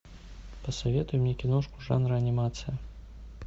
посоветуй мне киношку жанра анимация